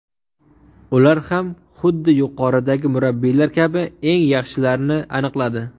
Ular ham xuddi yuqoridagi murabbiylar kabi eng yaxshilarni aniqladi.